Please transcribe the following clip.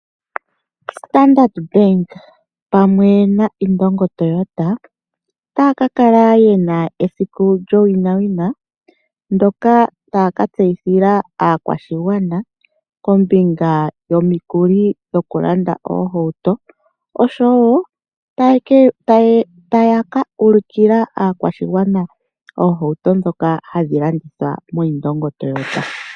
Standard Bank pamwe naIndongo Toyota otaya ka kala ye na esiku lyowinawina ndyoka taya ka tseyithila aakwashigwana kombinga yomikuli dhokulanda oohauto oshowo taya ka ulukila aakwashigwana oohauto ndhoka hadhi landithwa moIndongo Toyota.